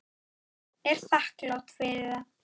Alls bárust fimm tilboð.